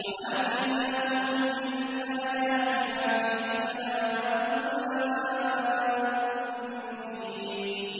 وَآتَيْنَاهُم مِّنَ الْآيَاتِ مَا فِيهِ بَلَاءٌ مُّبِينٌ